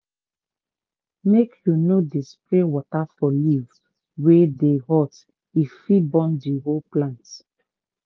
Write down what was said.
make u no dey spray water for leaf wey dey hot e fit burn the whole plant.